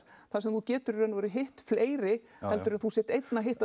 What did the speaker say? þar sem þú getur í raun og veru hitt fleiri heldur en að þú sért einn að hitta